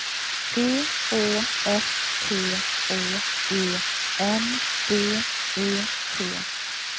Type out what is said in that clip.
P Å S T Å E N D E T